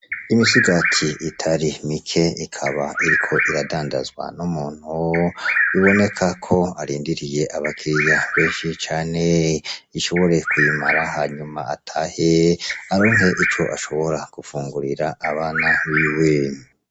Imisigati itari mike ikaba iriko iradandazwa n'umuntu biboneka ko arindiriye abakiriya beshi cane ashobore kuyimara hanyuma atahe aronke ico ashobora gufungurira abana biwe.